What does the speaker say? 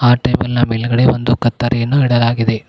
ಆ ಟೇಬಲ್ ನ ಮೇಲಗಡೆ ಒಂದು ಕತ್ತರಿಯನ್ನು ಇಡಲಾಗಿದೆ.